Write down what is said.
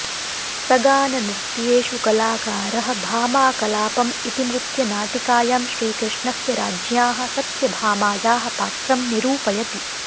सगाननृत्येषु कलाकारः भामाकलापम् इति नृत्यनाटिकायां श्रीकृष्णस्य राज्ञ्याः सत्यभामायाः पात्रं निरूपयति